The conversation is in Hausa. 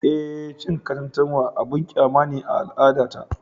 Eh, cin katantanwa abin kyama ne a al’adata